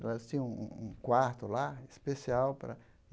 Elas tinham um um um quarto lá especial para.